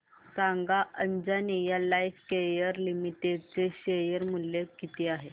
सांगा Anjaneya Lifecare limited चे share मूल्य किती आहे